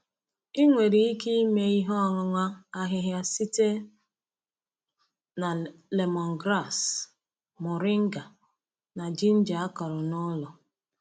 Ị nwere ike ime ihe ọṅụṅụ ahịhịa site na lemongrass, moringa na ginger a kụrụ n’ụlọ.